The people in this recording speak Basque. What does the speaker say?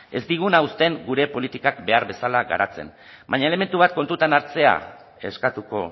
ez diguna uzten gure politikak behar bezala garatzen baina elementu bat kontutan hartzea eskatuko